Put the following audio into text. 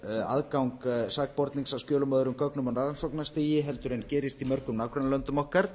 um aðgang sakbornings að skjölum og öðrum gögnum á rannsóknarstigi en gerist í mörgum nágrannalöndum okkar